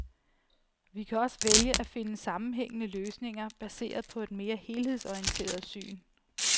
Vi kan også vælge at finde sammenhængende løsninger baseret på et mere helhedsorienteret syn.